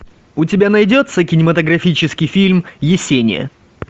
у тебя найдется кинематографический фильм есения